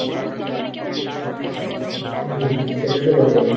হম সেটাতো বটেই